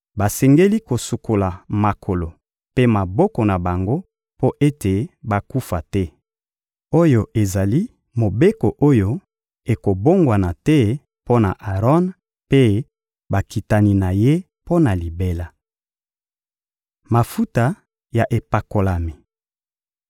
Basengeli kosukola makolo mpe maboko na bango mpo ete bakufa te. Oyo ezali mobeko oyo ekobongwana te mpo na Aron mpe bakitani na ye mpo na libela. Mafuta ya epakolami